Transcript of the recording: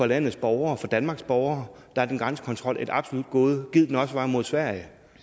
landets borgere for danmarks borgere er grænsekontrol et absolut gode gid den også var der mod sverige